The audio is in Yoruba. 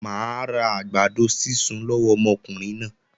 Mà á ra àgbàdo sísun lọ́wọ́ ọmọkùnrin náà.